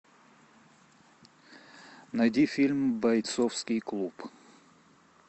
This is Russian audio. найди фильм бойцовский клуб